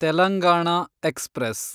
Telangana express